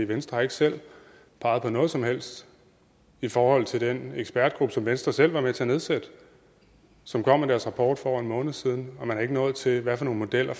venstre har ikke selv peget på noget som helst i forhold til den ekspertgruppe som venstre selv var med til at nedsætte og som kom med deres rapport for over en måned siden man er ikke nået frem til hvad for nogle modeller